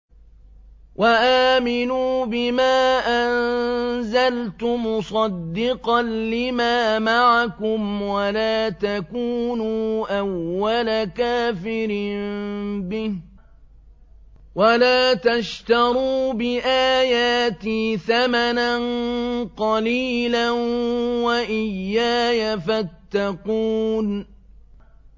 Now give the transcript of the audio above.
وَآمِنُوا بِمَا أَنزَلْتُ مُصَدِّقًا لِّمَا مَعَكُمْ وَلَا تَكُونُوا أَوَّلَ كَافِرٍ بِهِ ۖ وَلَا تَشْتَرُوا بِآيَاتِي ثَمَنًا قَلِيلًا وَإِيَّايَ فَاتَّقُونِ